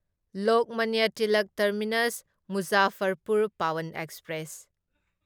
Lokmanya Tilak terminus Muzaffarpur Pawan express